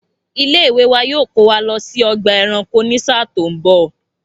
Ilé ìwé wa yoo kò wa lọ sí ọgbà ẹranko ni ṣáá tó ń bọ̀